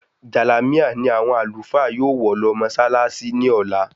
Jàlámíà ni àwọn Àlùfáà yóò wọ̀ lọ mọṣálááṣí ní ọ̀la